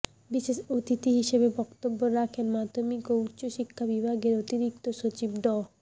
বিশেষ অতিথি হিসেবে বক্তব্য রাখেন মাধ্যমিক ও উচ্চশিক্ষা বিভাগের অতিরিক্ত সচিব ড